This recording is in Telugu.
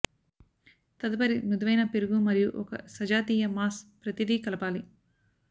తదుపరి మృదువైన పెరుగు మరియు ఒక సజాతీయ మాస్ ప్రతిదీ కలపాలి